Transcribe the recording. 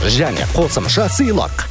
және қосымша сыйлық